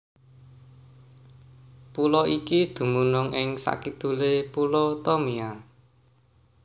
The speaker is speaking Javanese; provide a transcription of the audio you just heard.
Pulo iki dumunung ing sakidulé Pulo Tomia